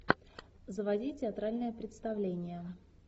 заводи театральное представление